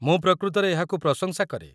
ମୁଁ ପ୍ରକୃତରେ ଏହାକୁ ପ୍ରଶଂସା କରେ।